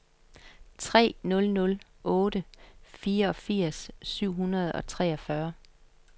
tre nul nul otte fireogfirs syv hundrede og treogfyrre